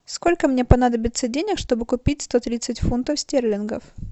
сколько мне понадобится денег чтобы купить сто тридцать фунтов стерлингов